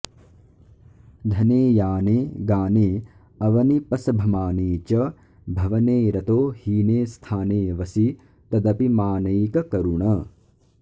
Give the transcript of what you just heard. धने याने गानेऽवनिपसभमाने च भवने रतो हीने स्थानेऽवसि तदपि मानैककरुण